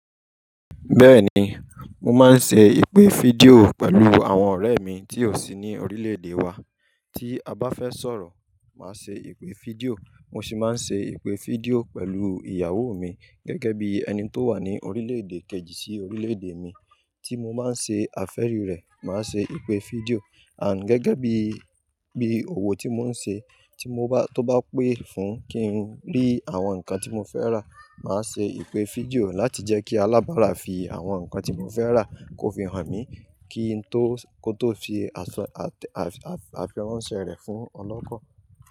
Bẹ́ẹ̀ni, mo máa ń ṣe ìpè fídíò pẹ̀lú àwọn ọ̀rẹ́ mi tí ó sì ní orílẹ̀-èdè wa. Tí a bá fẹ́ sọ̀rọ̀, màá ṣe ìpè fídíò. Mo sì máa ń ṣe ìpè fídíò pẹ̀lú ìyàwó mi gẹ́gẹ́ bí ẹni tó wà ní orílẹ̀-èdè kejì sí orílẹ̀-èdè mi. Tí mo máa ń ṣe àfẹ́rí rẹ̀, màá ṣe ìpè fídíò. And gẹ́gẹ́ bí, bí òwò tí mò ń ṣe, tí mo bá, tó bá pè fún kí n rí àwọn nǹkan tí mò ń fẹ́ rà, màá ṣe ìpè fídíò láti jẹ́ kí alábàrà fi àwọn nǹkan tí mò ń fẹ́ rà kó fi hàn mí kí n tó, kó tó fi àsọ àtẹ́ àfirànṣẹ rẹ̀ fún ọlọ́kọ̀.